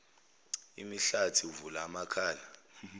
imihlathi uvula amakhala